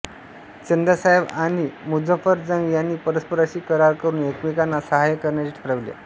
चंदासाहेब आणि मुझफ्फरजंग यांनी परस्परांशी करार करुन एकमेकांना सहाय्य करण्याचे ठरविले